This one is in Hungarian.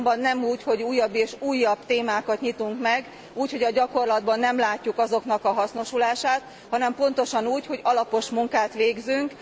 Azonban nem úgy, hogy újabb és újabb témákat nyitunk meg úgy, hogy a gyakorlatban nem látjuk ezek hasznosulását, hanem pontosan úgy, hogy alapos munkát végzünk.